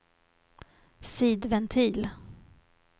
sidventil